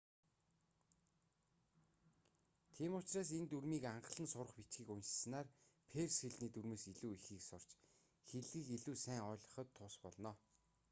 тийм учраас энэ дүрмийн анхлан сурах бичгийг уншсанаар перс хэлний дүрмээс илүү ихийг сурч хэллэгийг илүү сайн ойлгоход тус болно